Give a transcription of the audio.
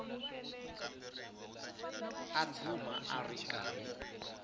a tshama a ri karhi